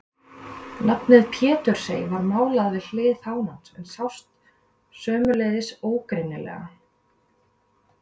Nafnið Pétursey var málað við hlið fánans en sást sömuleiðis ógreinilega.